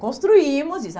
Construímos isso.